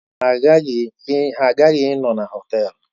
Mba, ha agaghị anọ na họtel.